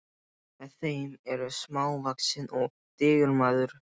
Með þeim er smávaxinn og digur maður.